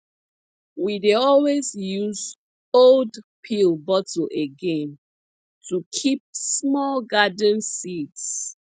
we dey always use old pill bottle again to keep small garden seeds